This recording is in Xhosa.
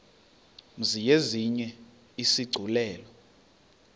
mzi yenziwe isigculelo